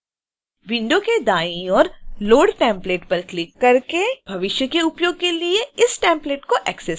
window के दाईं ओर load template पर क्लिक करके भविष्य के उपयोग के लिए इस template को एक्सेस करें